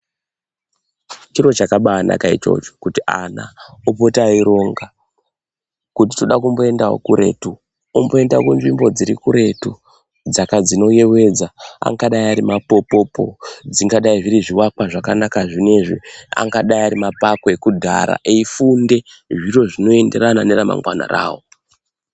Chiro chakanaka chona ichocho kuti ana opota echironga kuti Toda kumboendawo kuretu omboenda nzvimbo dzirikuretu dzinoyevedza. Angadai ari mapopopo, zvingadai zviri zvivakwa, angadai ari mapako ekudhaya eyifunda zviro zvimoenderana neramangwana ravo.